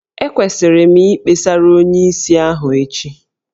Ekwesịrị m Ikpesara onyeisi ahụ echi?